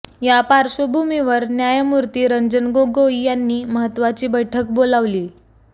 या पार्श्वभूमीवर न्यायमूर्ती रंजन गोगोई यांनी महत्त्वाची बैठक बोलावलीय